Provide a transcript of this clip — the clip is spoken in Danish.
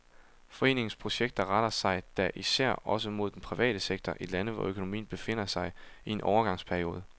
Foreningens projekter retter sig da især også mod den private sektor i lande, hvor økonomien befinder sig i en overgangsperiode.